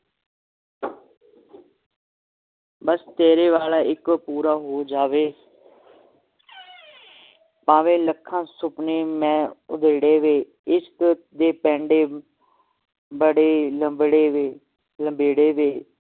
ਬਸ ਤੇਰੇ ਵਾਲਾ ਇਕ ਪੂਰਾ ਹੋ ਜਾਵੇ ਭਾਵੇਂ ਲੱਖਾਂ ਸੁਪਨੇ ਮੈਂ ਉਧੇੜੇ ਵੇ ਇਸ ਦੇ ਪੈਂਡੇ ਬੜੇ ਲੰਬੜੇ ਲੰਬੇੜੇ ਵੇ